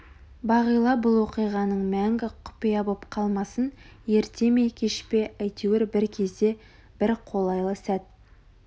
бағила бұл оқиғаның мәңгі құпия боп қалмасын ерте ме кеш пе әйтеуір бір кезде бір қолайлы сәт